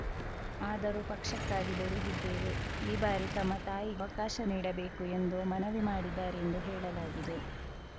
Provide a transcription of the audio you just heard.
ಆದರೂ ಪಕ್ಷಕ್ಕಾಗಿ ದುಡಿದಿದ್ದೇವೆ ಈ ಬಾರಿ ತಮ್ಮ ತಾಯಿವಕಾಶ ನೀಡಬೇಕು ಎಂದು ಮನವಿ ಮಾಡಿದ್ದಾರೆ ಎಂದು ಹೇಳಲಾಗಿದೆ